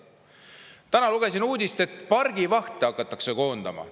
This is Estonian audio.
Täna lugesin uudist, et pargivahte hakatakse koondama.